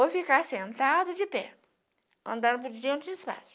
Ou ficar sentado de pé, andando por onde tinha espaço